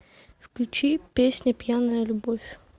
включи песня пьяная любовь